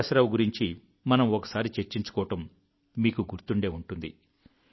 ప్రకాశరావు గురించి మనం ఒకసారి చర్చించుకోవడం మీకు గుర్తుండే ఉంటుంది